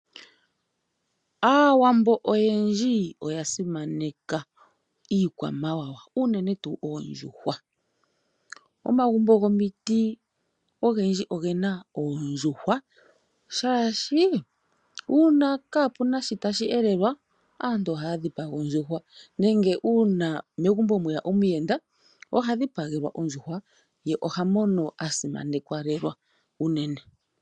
Aawambo oyendji oya simaneka iikwamawawa uunene tuu oondjuhwa. Momagumbo gomiti ogendji ogena oondjuhwa, shaashi kaapuna shi tashi elelwa aantu ohaya dhipaga oondjuhwa, nenge megumbo ngele mweya omuyenda oha dhipagelwa ondjuhwa ye ohamono a simanekwa lela.